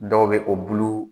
Dɔw bɛ o bulu